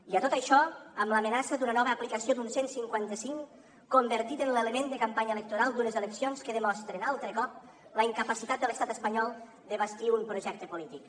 i a tot això amb l’amenaça d’una nova aplicació d’un cent i cinquanta cinc convertit en l’element de campanya electoral d’unes eleccions que demostren altre cop la incapacitat de l’estat espanyol de bastir un projecte polític